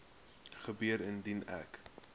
gebeur indien ek